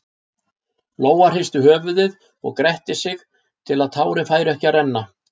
Lóa hristi höfuðið og gretti sig til að tárin færu ekki að renna.